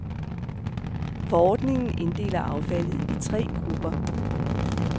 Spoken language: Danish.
Forordningen inddeler affaldet i tre grupper.